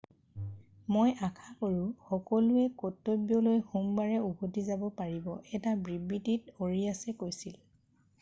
"মই আশা কৰোঁ সকলোৱে কৰ্তব্যলৈ সোমবাৰে উভতি যাব পাৰিব,""এটা বিবৃতিত আৰিয়াছে কৈছিল। "